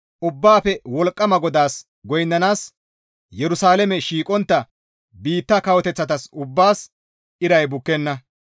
Ubbaafe Wolqqama GODAAS goynnanaas Yerusalaame shiiqontta biitta kawoteththata ubbaas iray bukkenna.